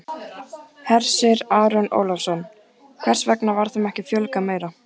Hersir Aron Ólafsson: Hvers vegna var þeim ekki fjölgað meira?